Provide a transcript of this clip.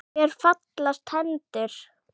Mér fallast hendur.